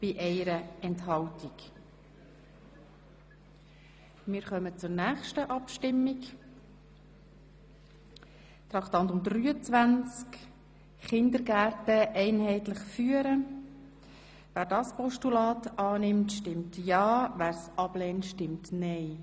– Wer das Postulat aus Traktandum 23, Kindergärten einheitlich führen, annehmen will, stimmt ja, wer es ablehnt, stimmt nein.